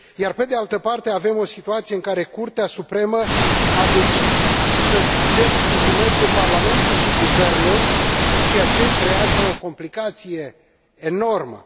Pe de altă parte avem o situație în care Curtea Supremă a decis să delegitimeze parlamentul și guvernul, ceea ce creează o complicație enormă.